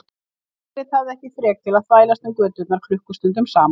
Margrét hafði ekki þrek til að þvælast um göturnar klukkustundum saman.